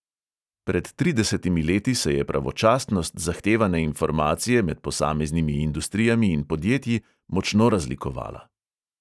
Pred tridesetimi leti se je pravočasnost zahtevane informacije med posameznimi industrijami in podjetji močno razlikovala.